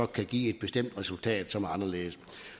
kan give et bestemt resultat som er anderledes